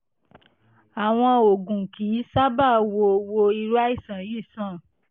àwọn oògùn kì í sábà wo wo irú àìsàn yìí sàn